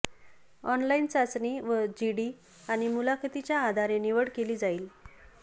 online चाचणी व GD आणि मुलाखतीच्या आधारे निवड केली जाईल